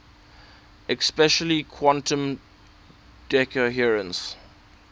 especially quantum decoherence